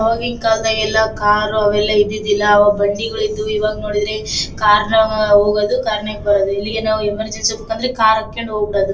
ಆವಾಗೀನ್ ಕಾಲದ ಎಲ್ಲಾ ಕಾರು ಅವೆಲ್ಲಾ ಇದಿದೀದಿಲ್ಲಾ ಆವಾಗ್ ಬಂಡಿಗಳು ಇದ್ದುವು ಈವಾಗ ನೋಡಿದ್ರೆ ಕಾರ್ ನಗ ಹೋಗೋದು ಕಾರ್ ನಾಗ್ ಬರೋದು ಎಲ್ಲಿಗಾನ್ ಎಮರ್ಜೆನ್ಸಿ ಹೋಗಬೇಕಂದ್ರೆ ಕಾರ್ ಹತ್ತಕೊಂಡ್ ಹೋಗಬಿಡೋದು .